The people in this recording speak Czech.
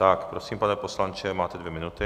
Tak prosím, pane poslanče, máte dvě minuty.